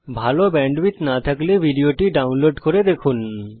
ভাল ব্যান্ডউইডথ না থাকলে ভিডিওটি ডাউনলোড করে দেখতে পারেন